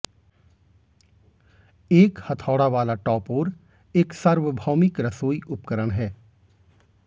एक हथौड़ा वाला टॉपोर एक सार्वभौमिक रसोई उपकरण है